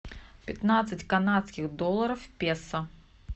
пятнадцать канадских долларов в песо